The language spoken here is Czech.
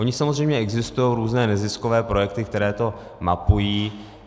Ony samozřejmě existují různé neziskové projekty, které to mapují.